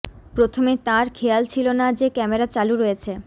প্রথমে তাঁর খেয়াল ছিল না যে ক্যামেরা চালু রয়েছে